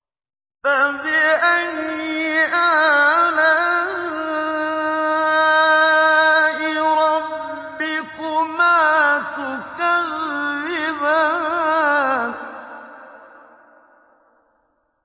فَبِأَيِّ آلَاءِ رَبِّكُمَا تُكَذِّبَانِ